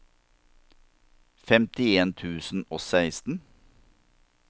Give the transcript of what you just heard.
femtien tusen og seksten